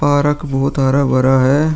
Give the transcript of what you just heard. Park बोहोत हरा-भरा है।